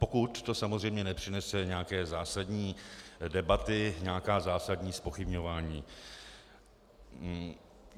Pokud to samozřejmě nepřinese nějaké zásadní debaty, nějaká zásadní zpochybňování.